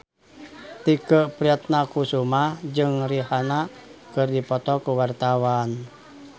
Tike Priatnakusuma jeung Rihanna keur dipoto ku wartawan